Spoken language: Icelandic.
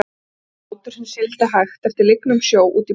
Það var bátur sem sigldi hægt eftir lygnum sjó- út í bláan buskann.